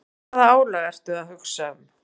Og hvaða álag ertu að hugsa um?